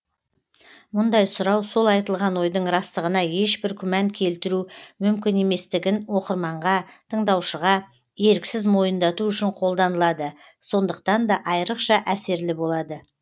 мұндай сұрау сол айтылған ойдың растығына ешбір күмән келтіру мүмкін еместігін оқырманға тыңдаушыға еріксіз мойындату үшін қолданылады сондықтан да айырықша әсерлі болады